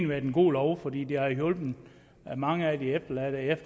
været en god lov fordi den har hjulpet mange af de efterladte